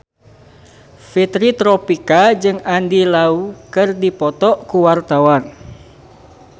Fitri Tropika jeung Andy Lau keur dipoto ku wartawan